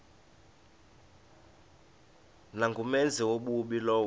nangumenzi wobubi lowo